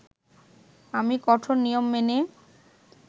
আমি কঠোর নিয়ম মেনে